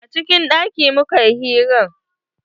A cikin ɗaki mukayi hiran.